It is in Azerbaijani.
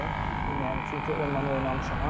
Mən çünki onunla oynamışam.